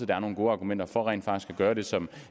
der er nogle gode argumenter for rent faktisk at gøre det som